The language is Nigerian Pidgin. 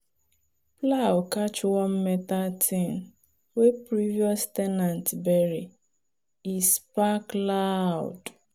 plow catch one metal thing wey previous ten ant bury e spark loud.